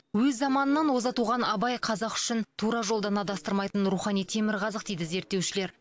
өз заманынан оза туған абай қазақ үшін тура жолдан адастырмайтын рухани темірқазық дейді зерттеушілер